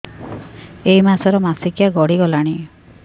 ଏଇ ମାସ ର ମାସିକିଆ ଗଡି ଗଲାଣି